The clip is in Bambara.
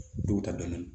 Duw ta dɔɔnin